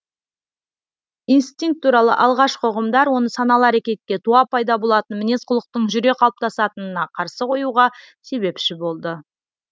инстинкт туралы алғашқы ұғымдар оны саналы әрекетке туа пайда болатын мінез құлықтың жүре қалыптасатынына қарсы қоюға себепші болды